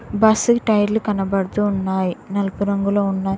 Bus కి టైర్లు కనబడుతూ ఉన్నాయ్ నలుపు రంగులో ఉన్నాయ్.